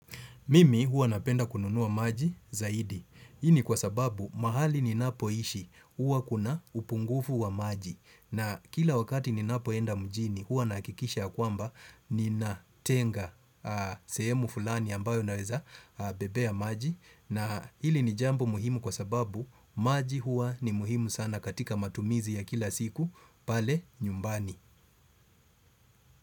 Mimi huwa napenda kununua maji zaidi. Hii ni kwa sababu mahali ni napoishi huwa kuna upungufu wa maji. Na kila wakati ni napoenda mjini huwa nahakikisha ya kwamba ni natenga sehemu fulani ambayo naweza bebea maji. Na hili ni jambo muhimu kwa sababu maji huwa ni muhimu sana katika matumizi ya kila siku pale nyumbani.